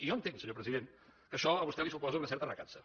i jo entenc senyor president que això a vostè li suposa una certa recança